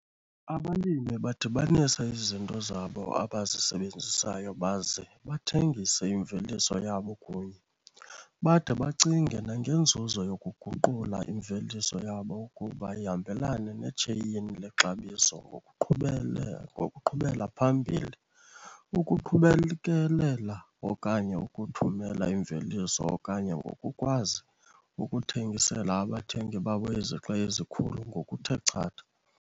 Abalimi badibanisa izinto zabo abazisebenzisayo baze bathengise imveliso yabo kunye. Bade bacinge nangenzuzo yokuguqula imveliso yabo ukuba ihambelane netsheyini lexabiso ngokuqhubela phambili, ukubekelela okanye ukuthumela imveliso okanye ngokukwazi ukuthengisela abathengi babo izixa ezikhulu ngokuthe chatha.